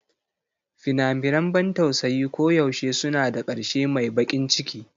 Fina-finan ban tausayi koyaushe suna da ƙarshe mai baƙin ciki.